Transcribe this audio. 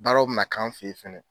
Baaraw bɛ na kan fɛ ye fɛnɛ.